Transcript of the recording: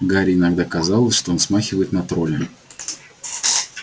гарри иногда казалось что он смахивает на тролля